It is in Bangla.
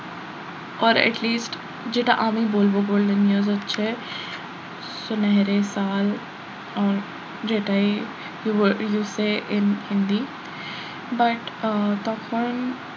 or at least যেটা আমি বলবো golden years হচ্ছে সুনহেরে সাল যেটাই you say in hindi but ah তখন